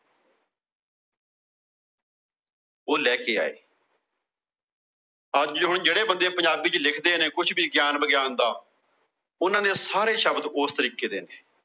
ਉਹ ਲੈਕੇ ਆਏ। ਅੱਜ ਹੁਣ ਜਿਹੜੇ ਬੰਦੇ ਪੰਜਾਬੀ ਚ ਲਿਖਦੇ ਨੇ। ਕੁਛ ਵੀ ਗਿਆਨ ਵਿਗਿਆਨ ਦਾ। ਉਹਨਾਂ ਦੇ ਸਾਰੇ ਸ਼ਬਦ ਉਸ ਤਰੀਕੇ ਦੇ ਨੇ।